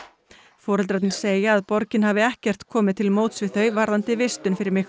foreldrarnir segja að borgin hafi ekkert komið til móts við þau varðandi vistun fyrir